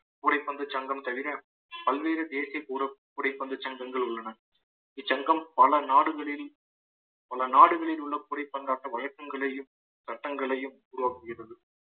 கூடைப்பந்து சங்கம் தவிர பல்வேறு தேசிய கூ~ கூடை பந்து சங்கங்கள் உள்ளன இச்சங்கம் பல நாடுகளில் பல நாடுகளில் உள்ள கூடை பந்தாட்ட வழக்கங்களையும் சட்டங்களையும் உருவாக்குகிறது